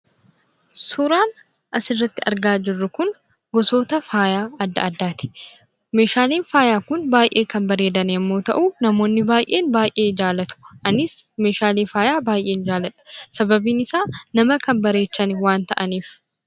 Suuraan asirratti argaa jirru Kun, gosoota faaya addaa addaati. Meeshaaleen faayaa Kun baayyee kan babbareedan yemmuu ta'u, namoonni baayyeen baayyee jaallatu anis Meeshaalee faayaa baayyeen jaalladha, sababbiin isaa nama kan bareechan waan ta'aniif.